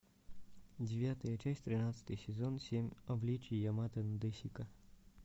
девятая часть тринадцатый сезон семь обличий ямато надэсико